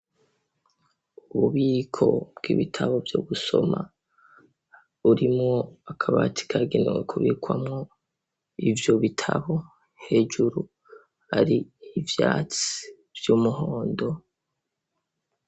Ububiko bw'ibitabo vyo gusoma, burimwo akabati kagenewe kubikwamwo ivyo bitabo. Hejuru hari ivyatsi vy'umuhondo.